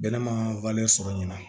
Bɛnɛ ma sɔrɔ ɲina